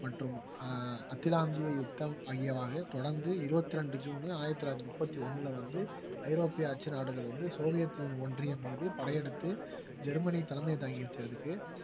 மற்றும் ஆஹ் அகிலாந்திய யுத்தம் ஆகியவை தொடர்ந்து இருவத்தி ரெண்டு ஜூன் ஆயிரத்தி தொள்ளாயிரத்தி முப்பத்தி ஒண்ணுல வந்து ஐரோப்பிய அச்சு நாடுகள் வந்து சோவியத் ஒன்றியம் மீது படையெடுத்து ஜெர்மனி தலைமை தாங்கி வச்சதுக்கு